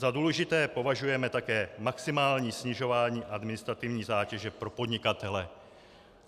Za důležité považujeme také maximální snižování administrativní zátěže pro podnikatele."